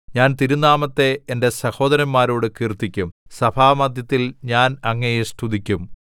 ഞാൻ തിരുനാമത്തെ എന്റെ സഹോദരന്മാരോട് കീർത്തിക്കും സഭാമദ്ധ്യത്തിൽ ഞാൻ അങ്ങയെ സ്തുതിക്കും